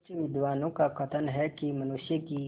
कुछ विद्वानों का कथन है कि मनुष्य की